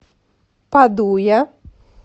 падуя